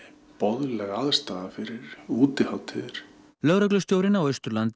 boðleg aðstaða fyrir útihátíðir lögreglustjórinn á Austurlandi